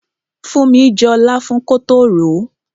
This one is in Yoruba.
Funmi jọ láfún kótó ròó.